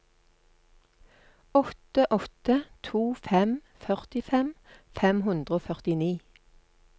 åtte åtte to fem førtifem fem hundre og førtini